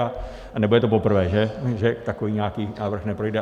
A nebude to poprvé, že takový nějaký návrh neprojde.